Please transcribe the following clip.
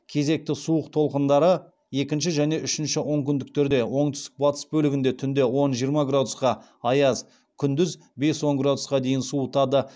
кезекті суық толқындары екінші және үшінші онкүндерде оңтүстік батыс бөлігінде түнде он жиырма градусқа аяз күндіз бес он градусқа дейін суытады